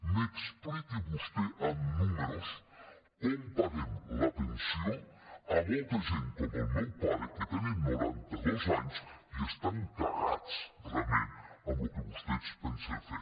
m’expliqui vostè amb números com paguem la pensió a molta gent com el meu pare que tenen noranta dos anys i estan cagats realment amb el que vostès pensen fer